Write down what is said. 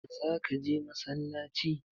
Za ka je massalaci?